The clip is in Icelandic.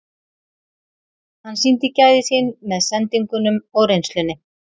Hann sýndi gæði sín með sendingunum og reynslunni.